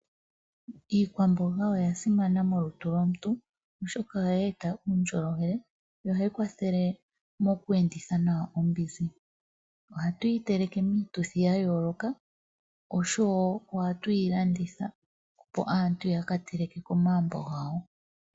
Iikwamboga oya simana molutu lomuntu oshoka ohayi eta uundjolowele no hayi kwathele moku enditha nawa ombinzi. Ohatu yi teleke miituthi ya yooloka osho wo ohatu yi landitha opo aantu ya ka teleke komagumbo gawo.